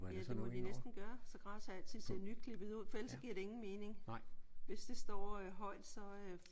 Ja det må de næsten gøre. Så græsset altid ser nyklippet ud. For ellers så giver det ingen mening. Hvis det står højt så øh